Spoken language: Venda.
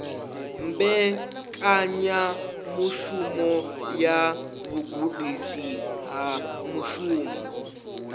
mbekanyamushumo ya vhugudisi ha mushumo